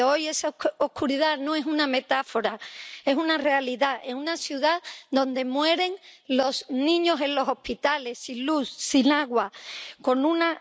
Pero hoy esa oscuridad no es una metáfora, es una realidad en una ciudad donde mueren los niños en los hospitales, sin luz, sin agua, con una...